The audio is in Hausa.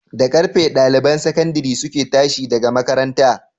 Da karfe ɗaliban sakandare suke tashi daga makaranta?